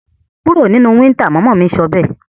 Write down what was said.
Kúro nínú winter! mama mí sọbẹ́ẹ̀